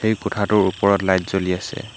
কোঠাটোৰ ওপৰত লাইট জ্বলি আছে।